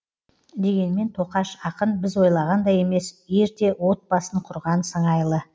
дегенмен тоқаш ақын біз ойлағандай емес ерте от басын құрған сыңайлы